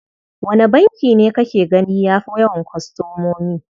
Wane banki ne kake gani ya fi yawan kwastomomi?